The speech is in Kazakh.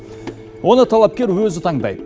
оны талапкер өзі таңдайды